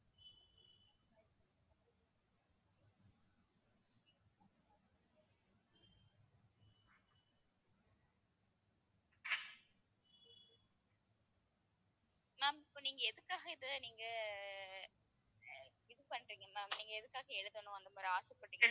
ma'am இப்ப நீங்க எதுக்காக இதை நீங்க இது பண்றீங்கன்னா நீங்க எதுக்காக எழுதணும் அந்த மாதிரி ஆசைப்படறீங்க